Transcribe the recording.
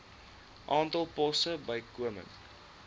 aantal poste bykomend